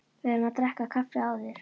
Við verðum að drekka kaffi áður.